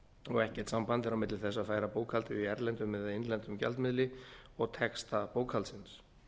og ekkert samband er á milli þess að færa bókhaldið í erlendum eða innlendum gjaldmiðli og texta bókhaldsins